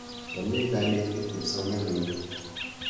Chamei kanetik kipsomaninik.